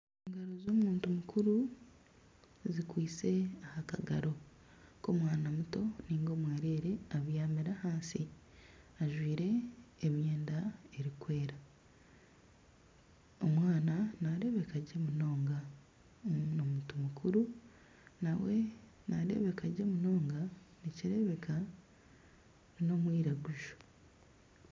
Engaro z'omuntu mukuru zikwaitse aha kagaro k'omwana muto nainga omwereere abyamire ahansi ajwaire emyenda erikwera. Omwana nareebeka gye munonga. Omuntu mukuru nawe nareebeka gye munonga. Nikireebeka n'omwiraguju.